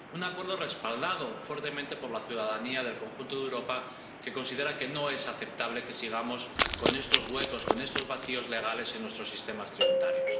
Un acuerdo respaldado fuertemente por la ciudadanía del conjunto de Europa que considera que no es aceptable que sigamos con estos vacíos legales en nuestros sistemas tributarios.